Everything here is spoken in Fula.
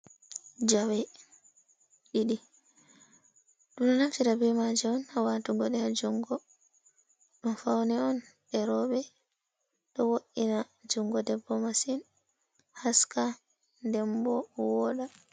Jawe ɗiɗii du naftira be maje on hawatugo de ha jungo. Ɗum fauni on derobe, ɗo wo’ina jungo debbo masin haska dembo woda.